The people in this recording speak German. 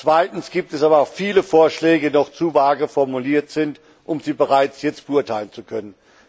Zweitens gibt es aber auch viele Vorschläge, die jedoch zu vage formuliert sind, um sie bereits jetzt beurteilen zu können.